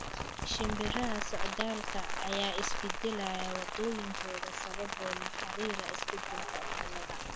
Shimbiraha socdaalka ah ayaa beddelaya waddooyinkooda sababo la xiriira isbeddelka cimilada.